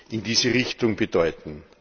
in diese Richtung bedeuten.